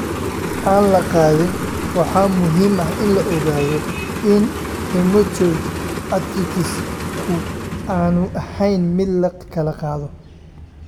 Aan La Qaadin Waxaa muhiim ah in la ogaado in rheumatoid arthritis-ku aanu ahayn mid la kala qaado.